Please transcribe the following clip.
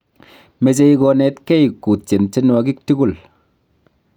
mechei konetgei kutyen tyenwogik tigul